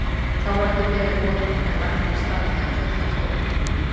Þá var ekki beðið boðanna en lagt af stað þegar kvölda tók.